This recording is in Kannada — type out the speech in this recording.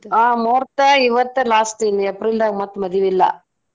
ಆ ಮುಹೂರ್ತ ಇವತ್ತ last ಇನ್ನ್ April ದಾಗ ಮತ್ತ ಮದಿವಿ ಇಲ್ಲಾ.